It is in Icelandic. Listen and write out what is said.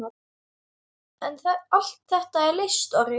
En allt þetta leysti Orri.